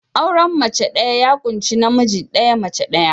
Auren mace ɗaya ya ƙunshi namiji ɗaya, mace ɗaya.